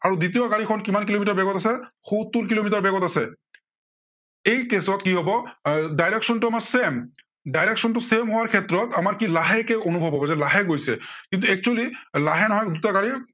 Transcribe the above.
আৰু দ্বিতীয় গাড়ীখন কিমান কিলোমিটাৰ বেগত আছে, সত্তৰ কিলোমিটাৰ বেগত আছে। এই case কি হব এৰ direction টো আমাৰ same, direction টো same হোৱাৰ ক্ষেত্ৰত, আমাৰ কি লাহেকৈ অনুভৱ হব যে লাহে গৈছে। কিন্তু actually লাহে নহয়, দুইটা গাড়ী